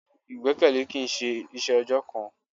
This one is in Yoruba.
Ìgbẹ́kẹ̀lé kìí ṣe iṣẹ́ ọjọ́ kan.